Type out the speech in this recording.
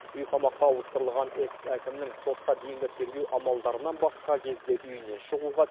үй қамаққа ауыстырылған экс әкімнің сотқа дейінгі тергеу амалдарынан басқа кезде үйінен шығуға